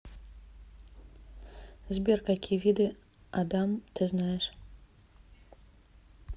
сбер какие виды адам ты знаешь